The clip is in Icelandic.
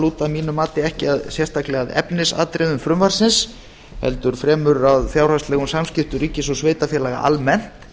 lúta að mínu mati ekki sérstaklega að efnisatriðum frumvarpsins heldur fremur að fjárhagslegum samskiptum ríkis og sveitarfélaga almennt